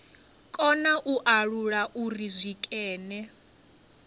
kona u alula uri zwikene